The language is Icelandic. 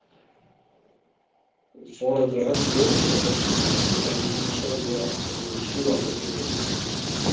Foreldrar Höllu eru ekki þekktir en hún er sögð vera ættuð úr Súgandafirði.